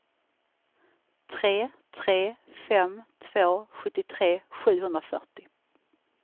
tre tre fem två sjuttiotre sjuhundrafyrtio